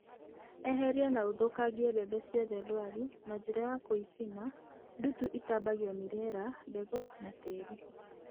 Eheria na ũthũkangie mbembe ciothe ndwaru na njĩra ya gũicina (nduutu ĩtambagio nĩ rĩera, mbegũ na tĩri).